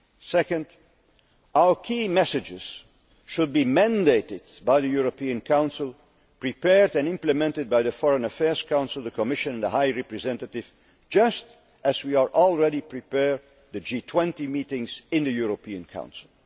Second, our key messages should be mandated by the European Council, prepared and implemented by the Foreign Affairs Council, the Commission and the High Representative, just as we are already preparing the G20 meetings in the European Council.